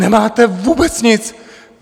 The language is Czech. Nemáte vůbec nic!